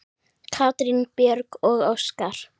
Katrín Björg og Óskar.